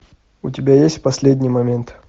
у тебя есть последний момент